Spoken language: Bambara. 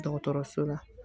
Dɔgɔtɔrɔso la